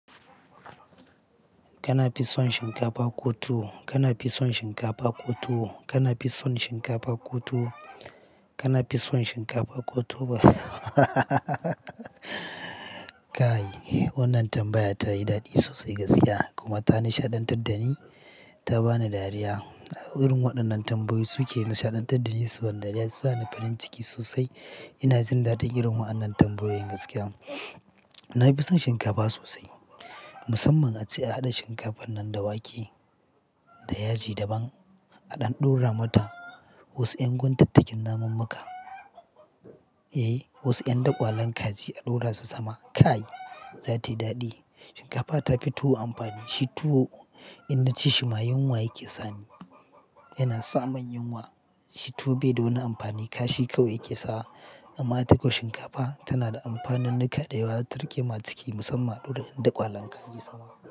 Kana fison shinkafa ko tuwo, kana fison shinkafa ko tuwo, kana fison shinkafa ko tuwo, kana fison shinkafa ko tuwo. Ka yi. Wannan tambaya ta yi daɗi sosai gaskiya kuma ta nishaɗantar da ni, ta ba ni dariya. Wurin waɗannan tambayoyi suke nishaɗantar da ni saboda su sa ni farin ciki sosai. Ina jin daɗin irin wa annan tambayoyin gaskiya. Na fi son shinkafa sosai, musamman ace a haɗa shinkafan nan da wake da yaji daban, a ɗan ɗora mata wasu 'yan guntattain naman maka, eh, wasu 'yan daƙwalen kaji a ɗora su sama. Ka yi, za ta yi daɗi. Shinkafa ta fi tuwo amfani. Shi tuwo idan ci shi ma yunwa yake sani, yana sa mun yunwa. Tuwo bai da wani amfani kashi kawai yake sawa. Amma itako shinkafa tana da amfanin nika da yawa, tarikema ciki musamman ɗora ɗan daƙwalen kaji sama.